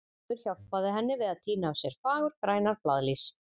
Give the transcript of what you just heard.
Gerður hjálpaði henni við að tína af sér fagurgrænar blaðlýs.